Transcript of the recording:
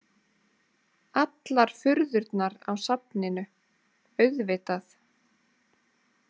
Allar furðurnar á safninu, auðvitað.